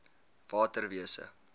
waterwese